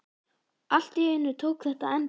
Allt í einu tók þetta enda.